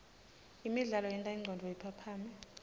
imidlalo yenta ingcondvo iphaphame